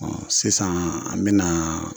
sisaan an bɛnaa